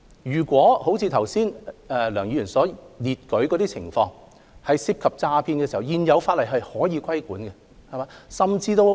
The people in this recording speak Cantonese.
如果像梁議員剛才所述的情況般，即涉及詐騙時，現有法例是可以規管的。